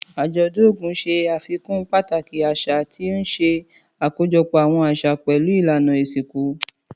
Àjọ̀dún Ogun ṣe àfikún pàtàkì àṣà, tí ó ń ṣe àkójọpọ̀ àwọn àṣà pẹ̀lú ìlànà ìsìnkú.